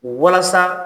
Walasa